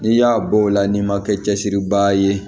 N'i y'a bɔ o la n'i ma kɛ cɛsiribaa ye